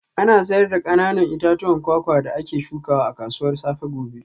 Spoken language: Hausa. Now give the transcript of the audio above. Ana sayar da kananan itatuwan kwakwa da ake shukawa a kasuwar safe gobe